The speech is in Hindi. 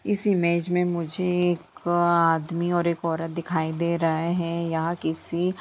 इस इमेज मे मुझे एक अ आदमी और एक औरत दिखाई दे रहा है यहा किसी--